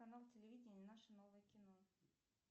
канал телевидения наше новое кино